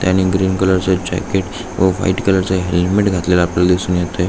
त्याने green colour च jacket व व्हाइट कलर च हेलमेट घातलेल आपल्याला दिसून येत आहे.